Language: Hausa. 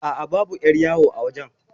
Aa, babu 'yar yawo a wajan